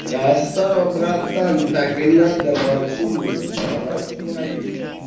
красава братан так и надо молчи не выдавай своих